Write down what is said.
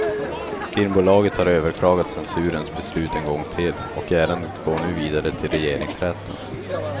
Filmbolaget har överklagat censurens beslut en gång till, och ärendet går nu vidare till regeringsrätten.